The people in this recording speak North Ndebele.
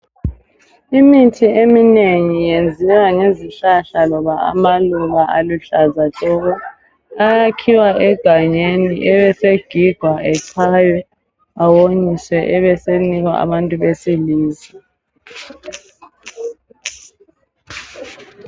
Imithi eminengi yenziwa ngezihlahla loba amaluba aluhlaza tshoko! Ayakhiwa egangeni, ebesegigwa, echaywe. Awonyiswe. Abesenikwa abantu besilisa.